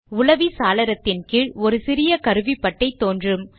உலவி சாளரத்தின் கீழ் ஒரு சிறிய கருவிபட்டை தோன்றும்